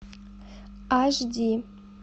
аш ди